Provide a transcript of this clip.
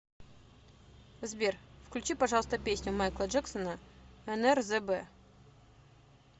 сбер включи пожалуйста песню майкла джексона нрзб